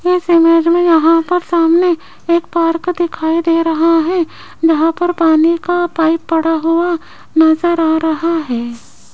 इस इमेज मे यहां पर सामने एक पार्क दिखाई दे रहा है जहां पर पानी का पाइप पड़ा हुआ नज़र आ रहा है।